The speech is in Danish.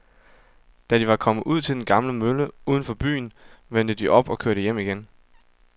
Da de var kommet ud til den gamle mølle uden for byen, vendte de om og kørte hjem igen.